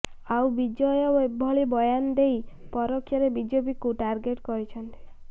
ଆଉ ବିଜୟ ଏଭଳି ବୟାନ ଦେଇ ପରୋକ୍ଷରେ ବିଜେପିକୁ ଟାର୍ଗେଟ କରିଛନ୍ତି